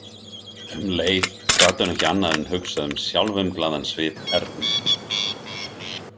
Um leið gat hún ekki annað en hugsað um sjálfumglaðan svip Ernu.